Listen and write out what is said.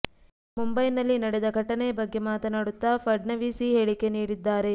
ಮುಂಬೈನಲ್ಲಿ ನಡೆದ ಘಟನೆಯ ಬಗ್ಗೆ ಮಾತನಾಡುತ್ತಾ ಫಡ್ನವೀಸ್ ಈ ಹೇಳಿಕೆ ನೀಡಿದ್ದಾರೆ